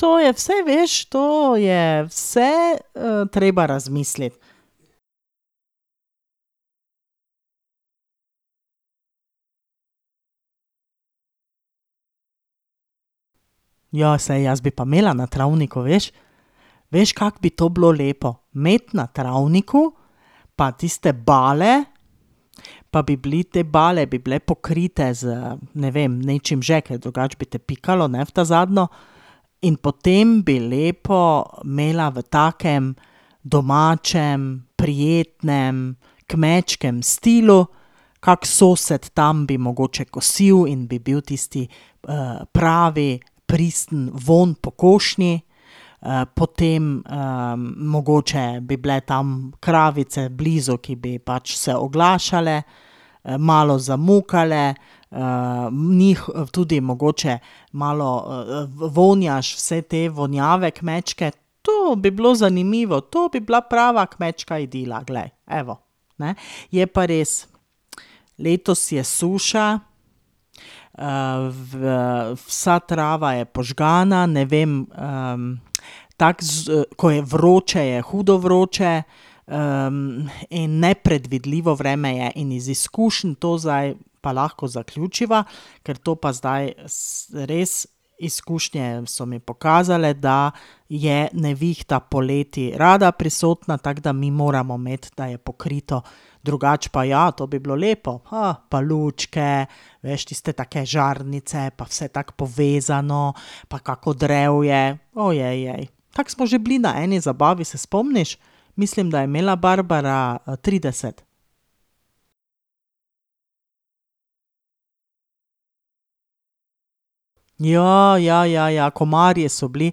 To je vse, veš, to je vse, treba razmisliti. Ja, saj jaz bi pa imela na travniku, veš. Veš, kako bi to bilo lepo? Imeti na travniku, pa tiste bale, pa bi bili, te bale bi bile pokrite z, ne vem, nečim že, kar drugače bi te pikalo, ne, v ta zadnjo. In potem bi lepo imela v takem domačem, prijetnem, kmečkem stilu. Kak sosed tam bi mogoče kosil in bi bil tisti, pravi, pristen vonj po košnji. potem, mogoče bi bile tam kravice blizu, ki bi pač se oglašale, malo zamukale, njih tudi mogoče malo vonjaš vse te vonjave kmečke. To bi bilo zanimivo, to bi bila prava kmečka idila glej, evo, ne. Je pa res, letos je suša, v vsa trava je požgana. Ne vem, tako z ko je vroče, je hudo vroče. in nepredvidljivo vreme je in iz izkušenj to zdaj pa lahko zaključiva, ker to pa zdaj res izkušnje so mi pokazale, da je nevihta poleti rada prisotna, tako da mi moramo imeti, da je pokrito. Drugače pa ja, to bi bilo lepo. pa lučke, veš, tiste take žarnice, pa vse tako povezano, pa kako drevje, Tako smo že bili na eni zabavi, se spomniš? Mislim, da je imela Barbara, trideset. ja, ja, ja, komarji so bili.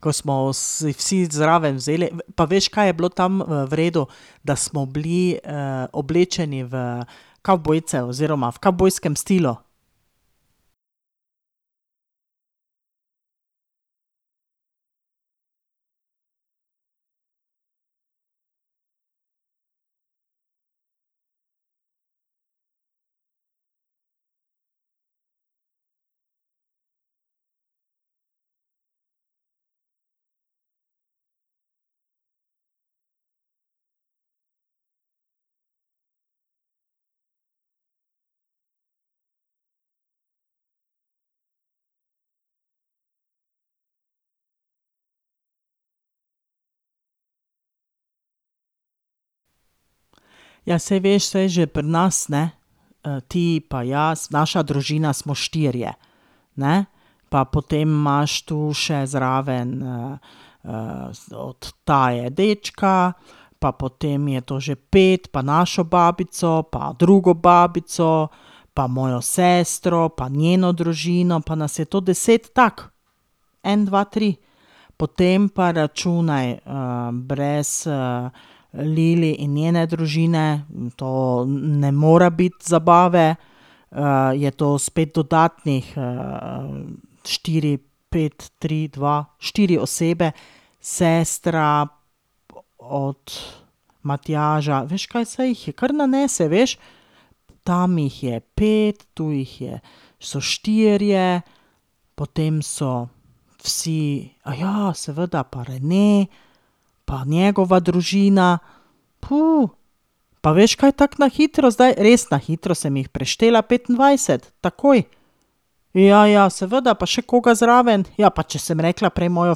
Ko smo si vsi zraven vzeli. Pa veš, kaj je bilo tam, v redu? Da smo bili, oblečeni v kavbojce oziroma v kavbojskem stilu. Ja, saj veš, saj že pri nas, ne. ti pa jaz, naša družina smo štirje, ne. Pa potem imaš tu še zraven, od Taje dečka, pa potem je to že pet pa našo babico pa drugo babico pa mojo sestro pa njeno družino, pa nas je to deset tako, en, dva, tri. Potem pa računaj, brez, Lili in njene družine to ne more biti zabave. je to spet dodatnih, štiri, pet, tri, dva, štiri osebe. Sestra od Matjaža. Veš kaj? Saj jih kar nanese, veš. Tam jih je pet, tu jih je, so štirje, potem so vsi, seveda, pa Rene pa njegova družina, Pa veš kaj? Tako na hitro zdaj, res na hitro sem jih preštela petindvajset. Takoj. Ja, ja, seveda, pa še koga zraven. Ja, pa če sem rekla prej mojo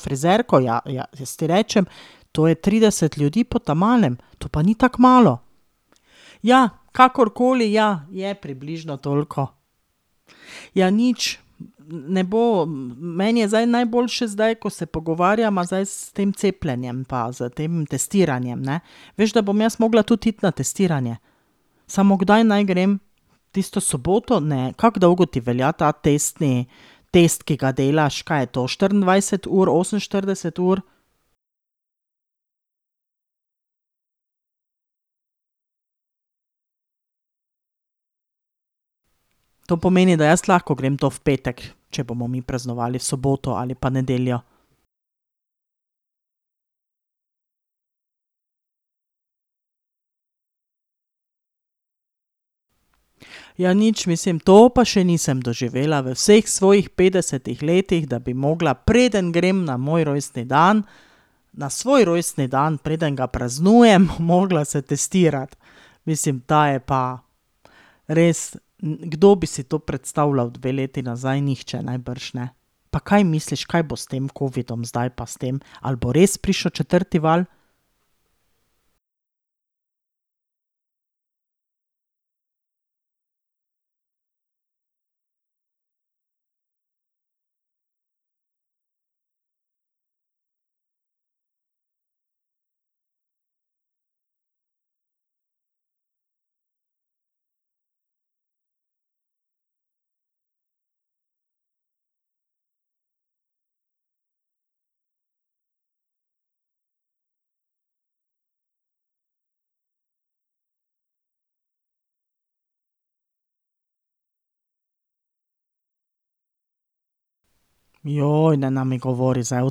frizerko. Ja, ja, jaz ti rečem, to je trideset ljudi po ta malem. To pa ni tako malo. Ja, kakorkoli, ja, je približno toliko. Ja, nič, ne bo, meni je zdaj najboljše, zdaj, ko se pogovarjava zdaj s tem cepljenjem pa s tem testiranjem, ne. Veš, da bom jaz mogla tudi iti na testiranje? Samo, kdaj naj grem? Tisto soboto? Ne. Kako dolgo ti velja ta testni, tisti, ki ga delaš? Kaj je to, štiriindvajset ur, oseminštirideset ur? To pomeni, da jaz lahko grem to v petek, če bomo mi praznovali v soboto ali pa nedeljo? Ja, nič, mislim, to pa še nisem doživela. V vseh svojih petdesetih letih, da bi mogla, preden grem na moj rojstni dan, na svoj rojstni dan, preden ga praznujem, mogla se testirati. Mislim, ta je pa res, kdo bi si to predstavljal dve leti nazaj? Nihče najbrž, ne. Pa kaj misliš, kaj bo s tem covidom zdaj pa s tem? Ali bo res prišel četrti val? nena mi govori zdaj o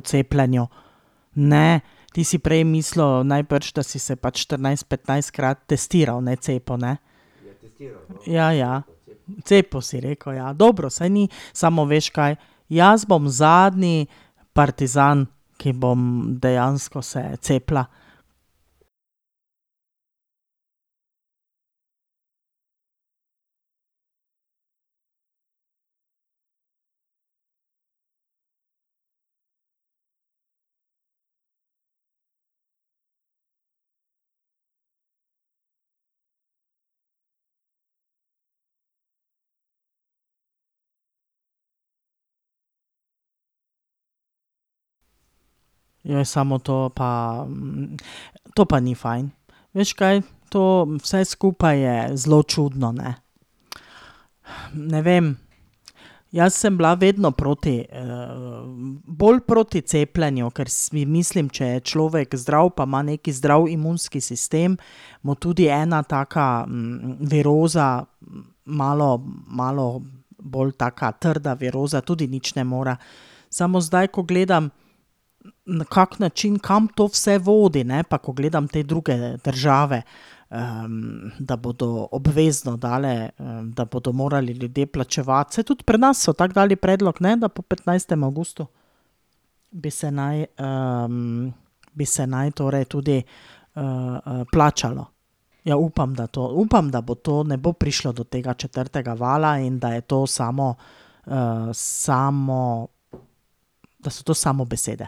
cepljenju. Ne. Ti si prej mislil najbrž, da si se pač štirinajst-, petnajstkrat testiral, ne cepil, ne? Ja, ja. Cepil, si rekel. Dobro, saj ni ... Samo, veš kaj? Jaz bom zadnji partizan, ki bom dejansko se cepila. samo to pa, to pa ni fajn. Veš kaj? To vse skupaj je zelo čudno, ne. Ne vem. Jaz sem bila vedno proti, bolj proti cepljenju, kar si mislim: če je človek zdrav pa ima neki zdrav imunski sistem, mu tudi ena taka viroza malo, malo bolj taka trda viroza tudi nič ne more. Samo, zdaj, ko gledam, na kak način, kam to vse vodi, ne, pa ko gledam te druge države, da bodo obvezno dale, da bodo morali ljudje plačevati. Saj tudi pri nas so to dali predlog, ne, da po petnajstem avgustu bi se naj, bi se naj torej tudi, plačalo. Ja, upam, da to, upam, da bo to, ne bo prišlo do tega četrtega vala in da je to samo, samo, da so to samo besede.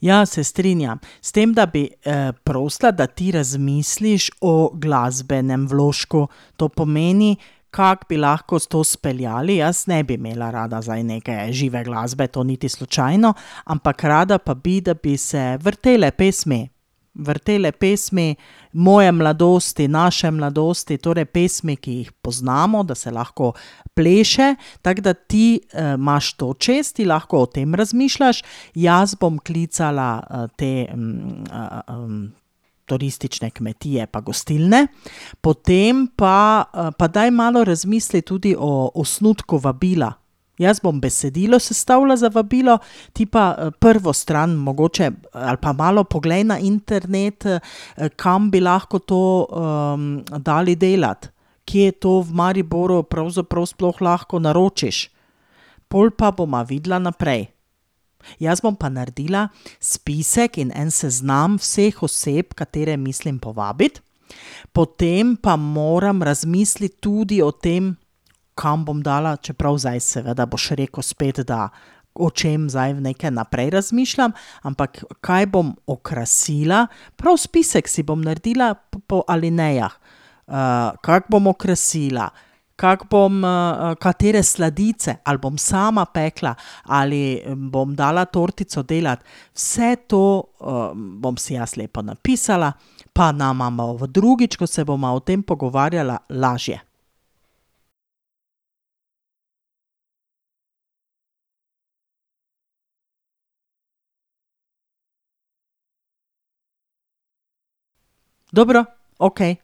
Ja, se strinjam. S tem, da bi, prosila, da ti razmisliš o glasbenem vložku. To pomeni, kako bi lahko to speljali. Jaz ne bi imela rada zdaj neke žive glasbe, to niti slučajno, ampak rada pa bi, da bi se vrtele pesmi, vrtele pesmi moje mladosti, naše mladosti, torej pesmi, ki jih poznamo, da se lahko pleše, tako da ti, imaš to čez, ti lahko o tem razmišljaš. Jaz bom klicala, te, turistične kmetije pa gostilne. Potem pa, pa daj malo razmisli tudi o osnutku vabila. Jaz bom besedilo sestavila za vabilo, ti pa, prvo stran mogoče. Ali pa malo poglej na internet, kam bi lahko to, dali delati. Kje to v Mariboru pravzaprav sploh lahko naročiš. Pol pa bova videla naprej. Jaz bom pa naredila spisek in en seznam vseh oseb, katere mislim povabiti, potem pa moram razmisliti tudi o tem, kam bom dala, čeprav zdaj seveda boš rekel spet, da, o čem zdaj nekaj naprej razmišljam, ampak kaj bom okrasila. Prav spisek si bom naredila po alinejah. kako bom okrasila, kako bom, katere sladice, ali bom sama pekla ali bom dala tortico delati. Vse to, bom si jaz lepo napisala pa nama bo drugič, ko se bova o tem pogovarjala, lažje. Dobro. Okej.